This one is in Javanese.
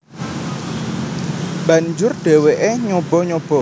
Banjur dheweke nyoba nyoba